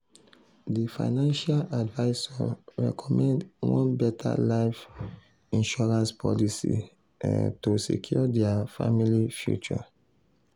di financial advisor recommend one better life insurance policy um to secure dia family future.